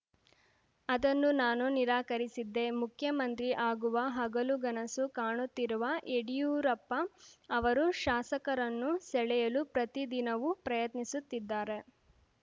ಅದನ್ನು ನಾನು ನಿರಾಕರಿಸಿದ್ದೆ ಮುಖ್ಯಮಂತ್ರಿ ಆಗುವ ಹಗಲುಗನಸು ಕಾಣುತ್ತಿರುವ ಯಡಿಯೂರಪ್ಪ ಅವರು ಶಾಸಕರನ್ನು ಸೆಳೆಯಲು ಪ್ರತಿದಿನವೂ ಪ್ರಯತ್ನಿಸುತ್ತಿದ್ದಾರೆ